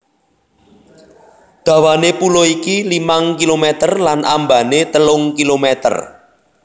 Dawané pulo iki limang kilometer lan ambané telung kilometer